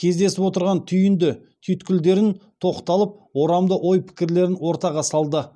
кездесіп отырған түйінді түйткілдерін тоқталып орамды ой пікірлерін ортаға салды